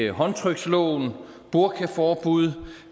håndtryksloven og burkaforbuddet